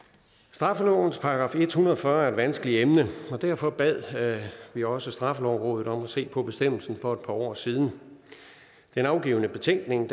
straffelovens § en hundrede og fyrre er et vanskeligt emne og derfor bad vi også straffelovrådet om at se på bestemmelsen for et par år siden den afgivne betænkning